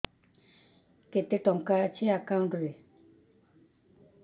କେତେ ଟଙ୍କା ଅଛି ଏକାଉଣ୍ଟ୍ ରେ